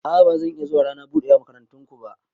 A'a ba zan iya zuwa rana budewa na makarantan ku ba.